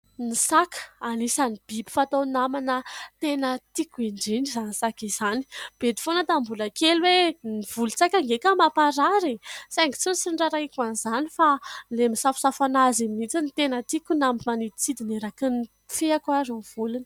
Ny saka, anisany biby fatao namana tena tiko indrina izany saka izany, bedy foana tamin'ny mbola kely hoe ny volon-tsaka nge ka mamparary eh ! Saingy tsy nisy nirarahiako an'izany fa ilay misafosafo azy iny no tena tiako na manidintsidina eraky ny fe-ko ary ny volony.